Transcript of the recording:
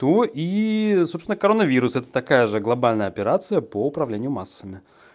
то и собственно коронавирус это такая же глобальная операция по управлению массами